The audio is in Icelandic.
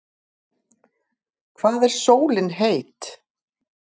Hvað er sólin heit?